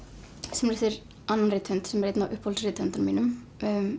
sem er eftir annan rithöfund sem er einn af uppáhalds rithöfundunum mínum